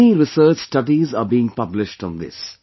Many research studies are being published on this